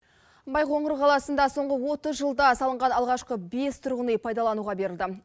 байқоңыр қаласында соңғы отыз жылда салынған алғашқы бес тұрғын үй пайдалануға берілді